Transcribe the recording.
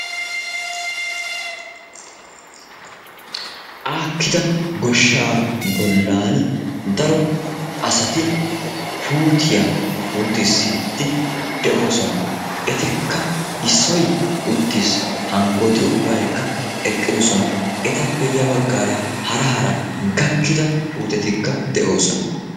Aakkida goshshaa bollan daro asati puutiya puutissiiddi de'oosona. Etikka issoy uttiis, hankkooti ubbaykka eqqidosona. Etape ya baggaara hara hara gakkida puutetikka de'oosona.